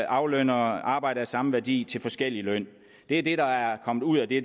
aflønner arbejde af samme værdi til forskellig løn det er det der er kommet ud af det